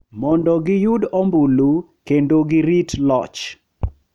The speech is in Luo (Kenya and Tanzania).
Mondo giyud ombulu kendo girit loch.